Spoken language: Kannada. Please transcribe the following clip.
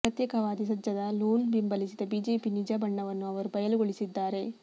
ಪ್ರತ್ಯೇಕತಾವಾದಿ ಸಜ್ಜದ್ ಲೋನ್ ಬೆಂಬಲಿಸಿದ ಬಿಜೆಪಿ ನಿಜ ಬಣ್ಣವನ್ನು ಅವರು ಬಯಲುಗೊಳಿಸಿದ್ದಾರೆ